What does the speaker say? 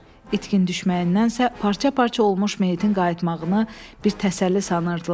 İtkin düşməyindənsə parça-parça olmuş meyitin qayıtmağını bir təsəlli sanırdılar.